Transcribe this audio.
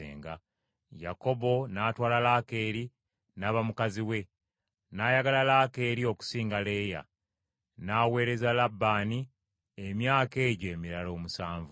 Yakobo n’atwala Laakeeri n’aba mukazi we; n’ayagala Laakeeri okusinga Leeya, n’aweereza Labbaani emyaka egyo emirala omusanvu.